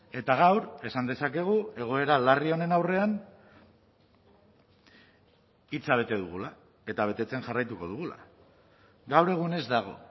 eta gaur esan dezakegu egoera larri honen aurrean hitza bete dugula eta betetzen jarraituko dugula gaur egun ez dago